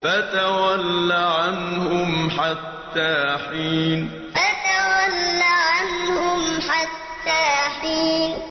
فَتَوَلَّ عَنْهُمْ حَتَّىٰ حِينٍ فَتَوَلَّ عَنْهُمْ حَتَّىٰ حِينٍ